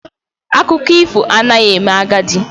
Akụkọ ifo anaghị eme agadi